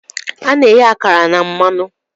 Ana-eghe akara na mmanụ.